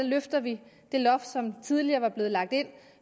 løfter vi det loft som tidligere var blevet lagt ind